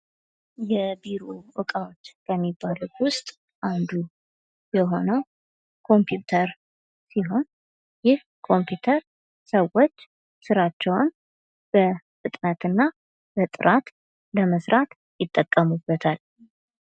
የቢሮ አቃወች ከሚባሉት ውስጥ አንዱ የሆነው ኮንምፒተር ሲሆን ይህ ኮምፒተር ሰወች ስራቸውን በፍጥነትና በጥራት ለመስራት ይጠቀሙበታል።